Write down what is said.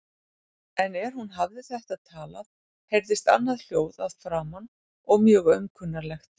En er hún hafði þetta talað heyrðist annað hljóð að framan og mjög aumkunarlegt.